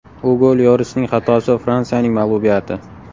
Ugo Lyorisning xatosi va Fransiyaning mag‘lubiyati.